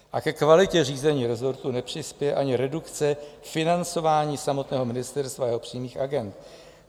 A ke kvalitě řízení resortu nepřispěje ani redukce financování samotného ministerstva a jeho přímých agend.